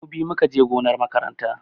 Mu biyu mu ka je gonar makaranta.